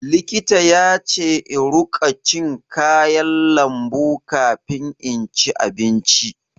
Likita yace in ruƙa cin kayan lambu kafin inci abinci.